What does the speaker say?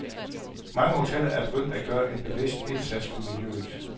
Mange hoteller er begyndt at gøre en bevidst indsats for miljøet.